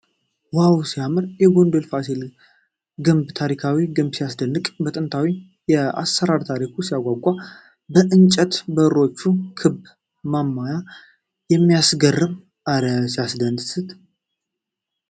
ዋው ሲያምር ! የጎንደር ፋሲል ግቢ ታሪካዊ ግንብ ሲያስደንቅ ! ጥንታዊው አሰራርና ታሪኩ ሲያጓጓ ! የእንጨት በሮቹና ክብ ማማው ሲያስገርም ! እረ ሲያስደስት!